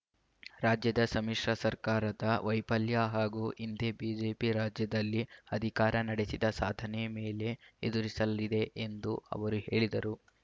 ರಾಜ್ಯದ ಸಮ್ಮಿಶ್ರ ಸರ್ಕಾರದ ವೈಫಲ್ಯ ಹಾಗೂ ಹಿಂದೆ ಬಿಜೆಪಿ ರಾಜ್ಯದಲ್ಲಿ ಅಧಿಕಾರ ನಡೆಸಿದ ಸಾಧನೆ ಮೇಲೆ ಎದುರಿಸಲಿದೆ ಎಂದು ಅವರು ಹೇಳಿದರು